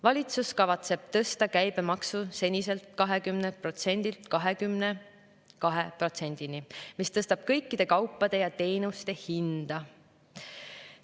Valitsus kavatseb tõsta käibemaksu seniselt 20%‑lt 22%‑ni, mis tõstab kõikide kaupade ja teenuste hinda.